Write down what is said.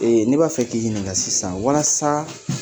ne b'a k'i ɲininka sisan walasa